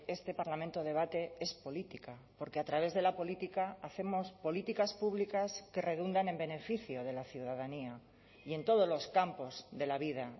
este parlamento debate es política porque a través de la política hacemos políticas públicas que redundan en beneficio de la ciudadanía y en todos los campos de la vida